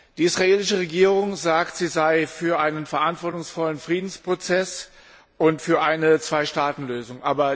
Die israelische Regierung sagt, sie sei für einen verantwortungsvollen Friedensprozess und für eine Zwei Staaten Lösung.